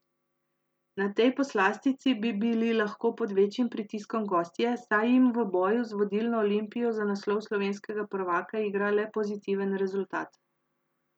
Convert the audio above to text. Na tej poslastici bi bili lahko pod večjim pritiskom gostje, saj jim v boju z vodilno Olimpijo za naslov slovenskega prvaka igra le pozitiven rezultat.